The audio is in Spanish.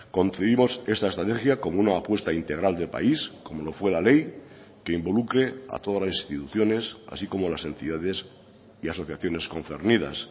concebimos esta estrategia como una apuesta integral de país como lo fue la ley que involucre a todas las instituciones así como las entidades y asociaciones concernidas